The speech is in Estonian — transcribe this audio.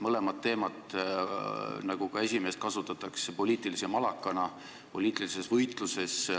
Mõlemat teemat, nagu ka esimesena mainitut, kasutatakse poliitilise malakana poliitilises võitluses.